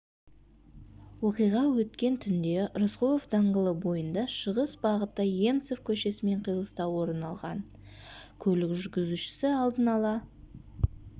оқиға өткен түнде рысқұлов даңғылы бойында шығыс бағытта емцов көшесімен қиылыста орын алған көлік жүргізушісі алдын-ала